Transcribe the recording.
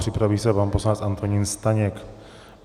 Připraví se pan poslanec Antonín Staněk.